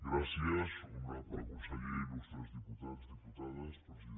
gràcies honorable conseller il·lustres diputats diputades presidenta